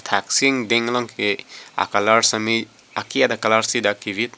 athaksi ingdeng along ke a colour sitame ake et a colour si dak kevit.